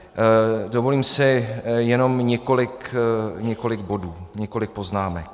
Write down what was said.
Dovolím si jenom několik bodů, několik poznámek.